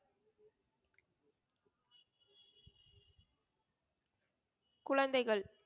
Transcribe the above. குழந்தைகள்